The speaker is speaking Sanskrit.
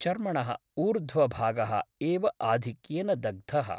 चर्मणः ऊर्ध्वभागः एव आधिक्येन दग्धः ।